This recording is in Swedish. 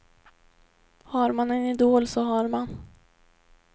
Har man en idol så har man.